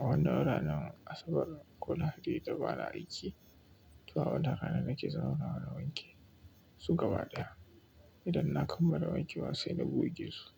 A wannan ranar asabar ko lahadi da ba na aiki, to a wannan rana nake zauna ana wanke su gaba ɗaya. Idan na kammala wanke wa sai na gogesu.